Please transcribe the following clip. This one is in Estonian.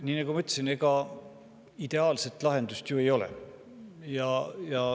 Nii nagu ma ütlesin, ega ideaalset lahendust ju ei ole.